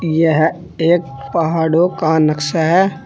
यह एक पहाड़ो का नक्शा है।